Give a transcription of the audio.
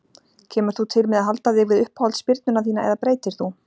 Kemur þú til með að halda þig við uppáhalds spyrnuna þína eða breytir þú?